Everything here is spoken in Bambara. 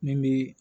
Min bi